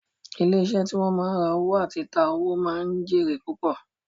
Ilé iṣẹ́ tí wọ́n ma ń ra owó àti ta owó ma ń jẹ́ èrè púpọ̀